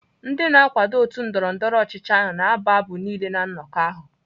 Ndị na-akwado otu ndọrọndọrọ ọchịchị na-abụ abụ niile na nnọkọ ahụ.